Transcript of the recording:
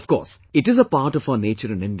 Of course, it is a part of our nature in India